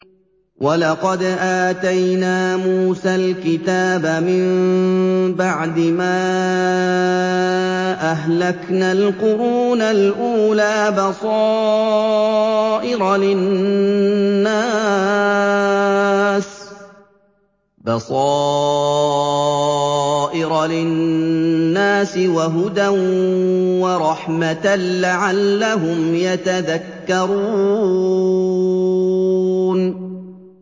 وَلَقَدْ آتَيْنَا مُوسَى الْكِتَابَ مِن بَعْدِ مَا أَهْلَكْنَا الْقُرُونَ الْأُولَىٰ بَصَائِرَ لِلنَّاسِ وَهُدًى وَرَحْمَةً لَّعَلَّهُمْ يَتَذَكَّرُونَ